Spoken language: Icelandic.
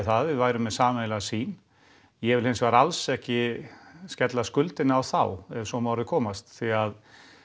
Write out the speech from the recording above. að við værum með sameiginlega sýn ég vil hins vegar alls ekki skella skuldinni á þá ef svo má að orði komast því að